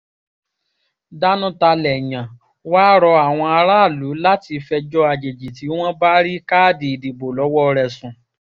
danutalẹyàn wàá rọ àwọn aráàlú láti fẹjọ́ àjèjì tí wọ́n bá rí káàdì ìdìbò lọ́wọ́ rẹ̀ sùn